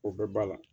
O bɛɛ b'a la